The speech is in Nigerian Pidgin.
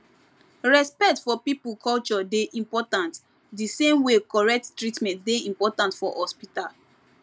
respect for people culture dey important the same way correct treatment dey important for hospital